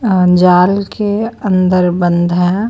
जाल के अंदर बंद है।